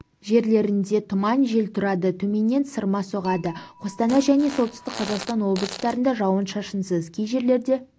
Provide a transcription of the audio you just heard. жерлерінде тұман жел тұрады төменнен сырма соғады қостанай және солтүстік қазақстан облыстарында жауын-шашынсыз кей жерлерде